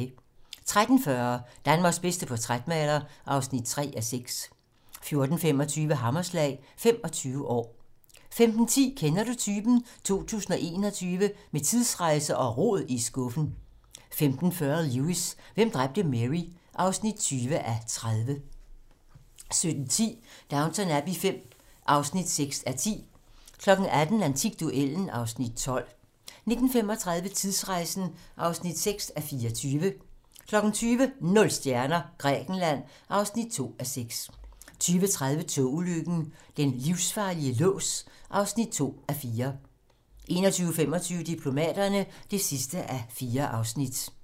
13:40: Danmarks bedste portrætmaler (3:6) 14:25: Hammerslag - 25 år 15:10: Kender Du Typen? 2021 - Med tidsrejse og rod i skuffen 15:40: Lewis: Hvem dræbte Mary? (20:30) 17:10: Downton Abbey V (6:10) 18:00: Antikduellen (Afs. 12) 19:35: Tidsrejsen (6:24) 20:00: Nul stjerner - Grækenland (2:6) 20:30: Togulykken - Den livsfarlige lås (2:4) 21:25: Diplomaterne (4:4)